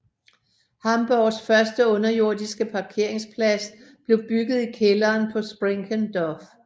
Hamburgs første underjordiske parkeringsplads blev bygget i kælderen på Sprinkenhof